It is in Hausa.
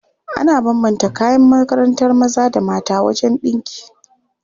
Ana bambanta kayan makarantar maza da mata wajen ɗinki.